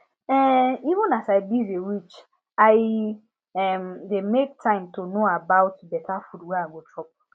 um even as i busy reach i um dey make time to know about better food wey i go chop